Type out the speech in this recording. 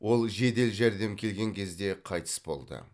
ол жедел жәрдем келген кезде қайтыс болды